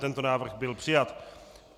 Tento návrh byl přijat.